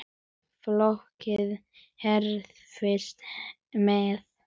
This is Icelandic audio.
Fólkið hreifst með.